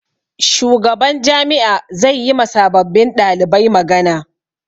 Shugaban jami'a zai yi ma sababbin ɗalibai magana.